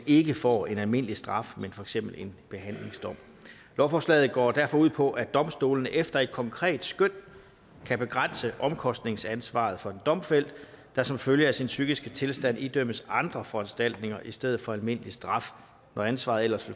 ikke får en almindelig straf men for eksempel en behandlingsdom lovforslaget går derfor ud på at domstolene efter et konkret skøn kan begrænse omkostningsansvaret for en domfældt der som følge af sin psykiske tilstand idømmes andre foranstaltninger i stedet for almindelig straf når ansvaret ellers